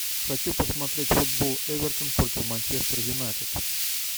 хочу посмотреть футбол эвертон против манчестер юнайтед